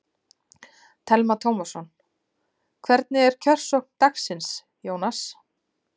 Telma Tómasson: Hvernig er kjörsókn dagsins, Jónas?